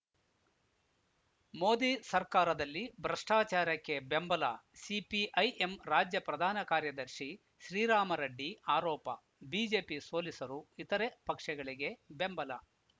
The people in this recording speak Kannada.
ಮೋದಿ ಸರ್ಕಾರದಲ್ಲಿ ಭ್ರಷ್ಟಾಚಾರಕ್ಕೆ ಬೆಂಬಲ ಸಿಪಿಐಎಂ ರಾಜ್ಯ ಪ್ರಧಾನ ಕಾರ್ಯದರ್ಶಿ ಶ್ರೀರಾಮರೆಡ್ಡಿ ಆರೋಪ ಬಿಜೆಪಿ ಸೋಲಿಸಲು ಇತರೆ ಪಕ್ಷಗಳಿಗೆ ಬೆಂಬಲ